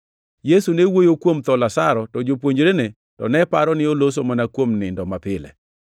Yesu ne wuoyo kuom tho Lazaro, to jopuonjrene to ne paro ni oloso mana kuom nindo mapile.